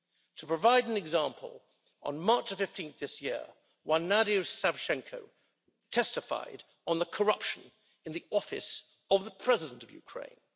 To provide an example on 15 March this year, one Nadia Savchenko testified on the corruption in the office of the President of Ukraine.